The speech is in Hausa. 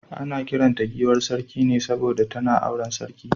Ana kiran ta giwar Sarki ne saboda tana auren sarki.